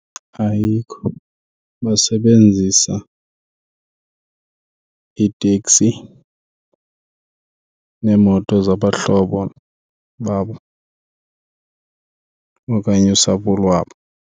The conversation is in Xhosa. Ayikho, basebenzisa iiteksi neemoto zabahlobo babo okanye usapho lwabo.